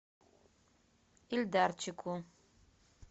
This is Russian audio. ильдарчику